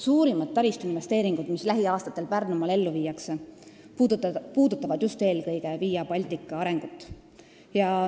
Suurimad taristuinvesteeringud, mis lähiaastatel Pärnumaal ellu viiakse, puudutavad just eelkõige Via Baltica arengut.